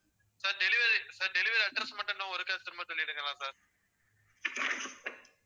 sir delivery sir delivery address மட்டும் இன்னும் ஒருக்கா திரும்ப சொல்லிடுங்களேன் sir